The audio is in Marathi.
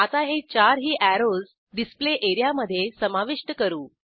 आता हे 4 ही अॅरोज डिस्प्ले एरियामधे समाविष्ट करू